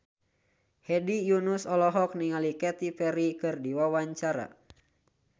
Hedi Yunus olohok ningali Katy Perry keur diwawancara